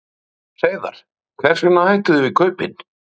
Sindri Sindrason: Hreiðar, hvers vegna hættuð þið við kaupin?